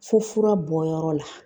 Fo fura bɔyɔrɔ la